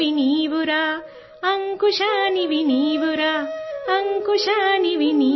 भारतीय स्वतंत्रता संग्राम के अंकुर हो अंकुश हो